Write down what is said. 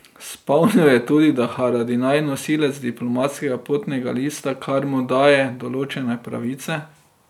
Spomnil je tudi, da je Haradinaj nosilec diplomatskega potnega lista, kar mu daje določene pravice.